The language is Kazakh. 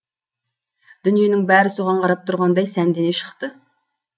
дүниенің бәрі соған қарап тұрғандай сәндене шықты